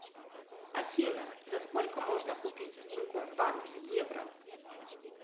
афина за сколько можно купить в тинькофф банке евро